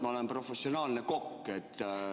Ma olen professionaalne kokk.